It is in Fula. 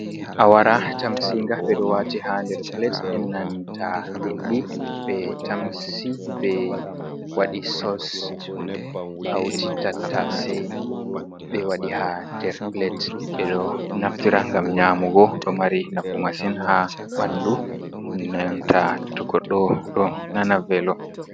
Awara tamsinga ɓe ɗo wati ha nder pilet è nanta liɗɗi ɓe tamsi be wadi sos hauti tattase ɓe wadi ha nder pilet ɓe ɗo naftira ngam nyamugo, ɗo mari nafu masin ha ɓandu nnanta togoɗɗo ɗo nana velo.